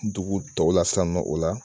Dugu tɔw la san nɔ o la